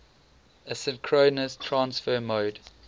asynchronous transfer mode